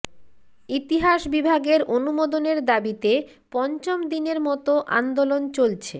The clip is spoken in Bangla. ইতিহাস বিভাগের অনুমোদনের দাবিতে পঞ্চম দিনের মতো আন্দোলন চলছে